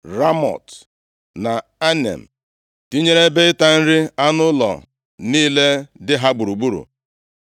Ramọt na Anem, tinyere ebe ịta nri anụ ụlọ niile dị ha gburugburu.